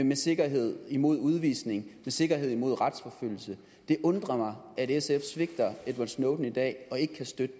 med sikkerhed imod udvisning med sikkerhed imod retsforfølgelse det undrer mig at sf svigter edward snowden i dag og ikke kan støtte